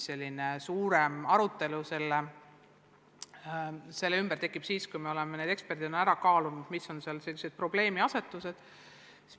Laiem arutelu selle ümber tekib siis, kui me oleme ekspertidelt kuulnud, mis on selles põhilised probleemiasetused.